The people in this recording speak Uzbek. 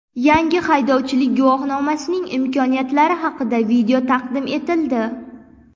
Yangi haydovchilik guvohnomasining imkoniyatlari haqida video taqdim etildi.